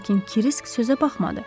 Lakin Krisk sözə baxmadı.